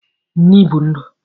Nni bu ndu